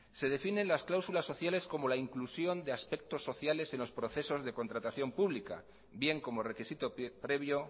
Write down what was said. se definen las cláusulas sociales como la inclusión de aspectos sociales en los procesos de contratación pública bien como requisito previo